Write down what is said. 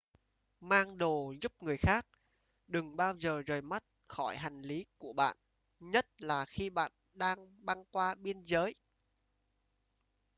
mang đồ giúp người khác đừng bao giờ rời mắt khỏi hành lí của bạn nhất là khi bạn đang băng qua biên giới